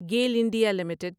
Gayle India limited